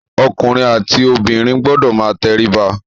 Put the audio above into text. Ọkùnrin àti obìnrin gbọdọ̀ máa tẹríba.